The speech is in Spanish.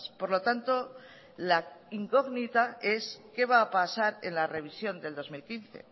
por lo tanto la incógnita es qué va a pasar en la revisión del dos mil quince